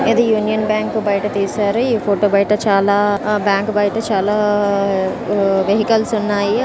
ఇది Union Bank బయట తీశారు ఈ ఫోటో బయట చాలా ఆ బ్యాంకు బయట చాలా వెహికల్స్ ఉన్నాయి.